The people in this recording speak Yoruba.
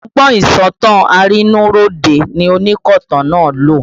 Ọgbọ́n ìsọ̀tàn arínúróde ni onkotan náà lò